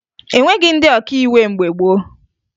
E nweghi ndị ọkàiwu mgbe gboo